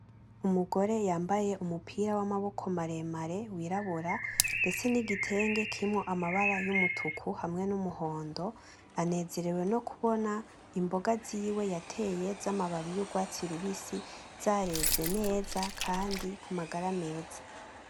Umugore yambaye umupira w'amaboko maremare w'irabura ndetse n'igitenge kirimwo amabara y'umutuku hamwe n'umuhondo, banezerewe no kuboba imboga ziwe yateye z'amababi y'urwatsi rubisi , zareze neza kandi ku magara meza.